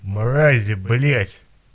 мрази блять